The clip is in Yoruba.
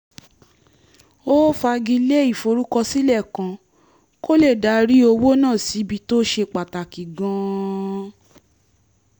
ó fagilé ìforúkọsílẹ̀ kan kó lè darí owó náà síbi tó ṣe pàtàkì gan-an